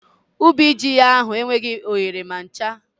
Ubi ji ya ahụ enweghị oghere ma ncha